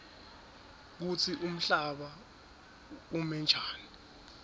kutsi umhlaba umenjani